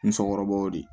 N cɛkɔrɔba y'o de